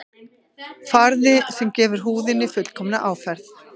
Farði sem gefur húðinni fullkomna áferð